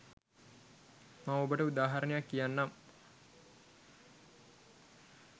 මම ඔබට උදාහරණයක් කියන්නම්.